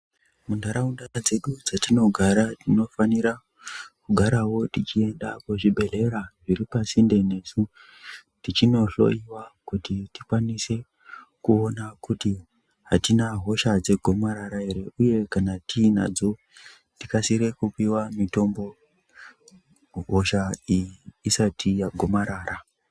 Muntharaunda dzedu dzetinogara tinofanira kugarawo tichienda kuzvibhedhlera zviri pasinde nesu tichinohloyiwa kuti tikwanise kuona kuti atina hosha dzegomarara ere uye kana tinadzo tikasire kupiwe mitombo, hosha iyi isati yagomarara.